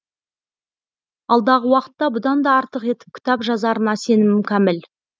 алдағы уақытта бұданда артық етіп кітап жазарына сенімім кәміл